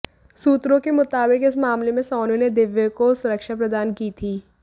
सूत्रों के मुताबिक इस मामले में सोनू ने दिव्य को सुरक्षा प्रदान की थी